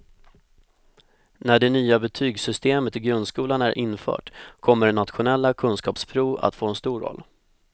När det nya betygssystemet i grundskolan är infört kommer nationella kunskapsprov att få en stor roll.